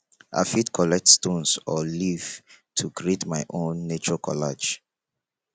i fit collect stones or leaves to create my own nature collage